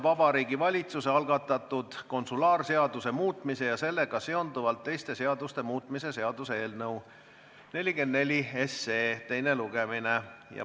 Vabariigi Valitsuse algatatud konsulaarseaduse muutmise ja sellega seonduvalt teiste seaduste muutmise seaduse eelnõu 44 teine lugemine.